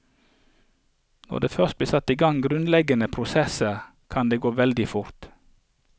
Når det først blir satt i gang grunnleggende prosesser, kan det gå veldig fort.